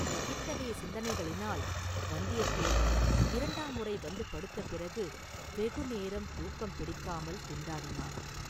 இத்தகைய சிந்தனைகளினால் வந்தியத்தேவன் இரண்டாம் முறை வந்து படுத்த பிறகு வெகுநேரம் தூக்கம் பிடிக்காமல் திண்டாடினான்.